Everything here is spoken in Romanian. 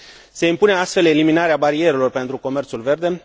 Se impune astfel eliminarea barierelor pentru comerțul verde.